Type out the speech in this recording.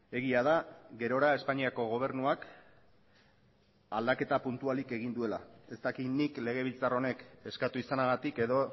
egia da gerora espainiako gobernuak aldaketa puntualik egin duela ez dakit nik legebiltzar honek eskatu izanagatik edo